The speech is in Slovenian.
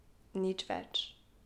Nič več.